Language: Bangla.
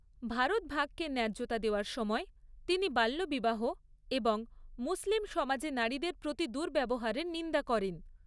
ভারত ভাগকে ন্যায্যতা দেওয়ার সময় তিনি বাল্যবিবাহ এবং মুসলিম সমাজে নারীদের প্রতি দুর্ব্যবহারের নিন্দা করেন।